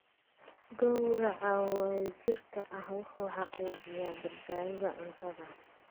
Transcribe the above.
Gowraca wadajirka ah wuxuu xaqiijiyaa badbaadada cuntada.